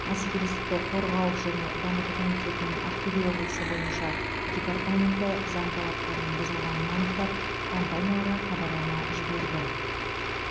бәсекелестікті қорғау және дамыту комитетінің ақтөбе облысы бойынша департаменті заң талаптарының бұзылғанын анықтап компанияларға хабарлама жіберді